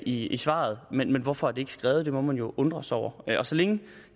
i i svaret men hvorfor er det ikke skrevet det må man jo undre sig over så længe